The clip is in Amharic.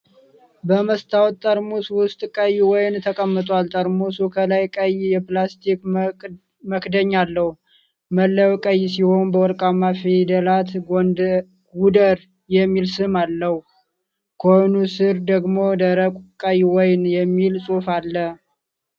በመስታወት ጠርሙስ ውስጥ ቀይ ወይን ተቀምጧል። ጠርሙሱ ከላይ ቀይ የፕላስቲክ መክደኛ አለው። መለያው ቀይ ሲሆን በወርቃማ ፊደላት "ጎደር" የሚል ስም አለው። ከወይኑ ስር ደግሞ "ደረቅ ቀይ ወይን" የሚል ጽሑፍ አለ።